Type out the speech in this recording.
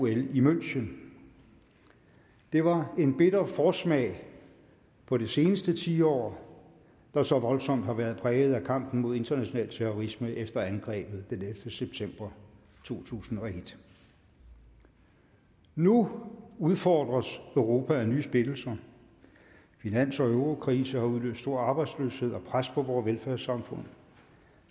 i münchen det var en bitter forsmag på det seneste tiår der så voldsomt har været præget af kampen mod international terrorisme efter angrebet den ellevte september to tusind og et nu udfordres europa af nye splittelser finans og eurokrise har udløst stor arbejdsløshed og pres på vore velfærdssamfund